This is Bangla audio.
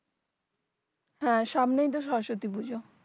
হ্যাঁ সামনেই তো সরস্বতী পূজো